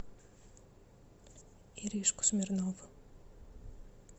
иришку смирнову